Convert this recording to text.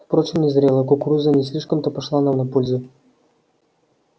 впрочем незрелая кукуруза не слишком то пошла нам на пользу